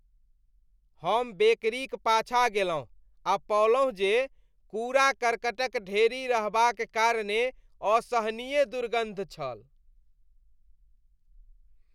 हम बेकरीक पाछाँ गेलहुँ आ पओलहुँ जे कूड़ा कर्कटक ढेरी रहबाक कारणेँ असहनीय दुर्गन्ध छल।